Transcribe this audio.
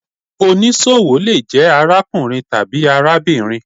Onísọwo le jẹ arákùrín tabi arábírín